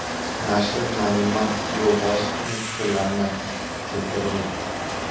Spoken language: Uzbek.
Nashr Narimmat Yo‘ldashevning fikrlarini keltirib o‘tdi.